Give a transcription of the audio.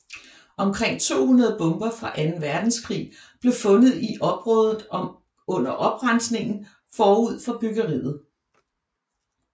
Omkring 200 bomber fra Anden Verdenskrig blev fundet i området under oprensningen forud for byggeriet